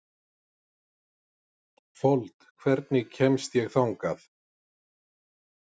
Fold, hvernig kemst ég þangað?